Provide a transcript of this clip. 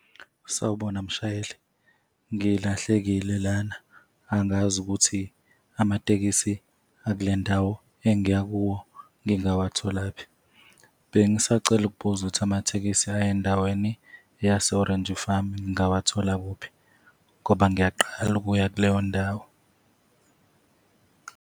Sawubona mshayeli. Ngilahlekile lana, angazi ukuthi amatekisi akule ndawo engiya kuwo ngingawatholaphi. Bengisacela ukubuza ukuthi amathekisi aya endaweni yase-Orange Farm ngingawathola kuphi ngoba ngiyaqala ukuya kuleyo ndawo?